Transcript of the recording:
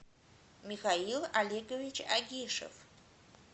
михаил олегович агишев